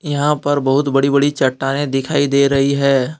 यहां पर बहुत बड़ी-बड़ी चट्टाने दिखाई दे रही है।